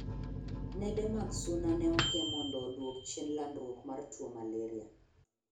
Nede mag Suna ne oke mondo oduok chien landruok mar tuo Malaria.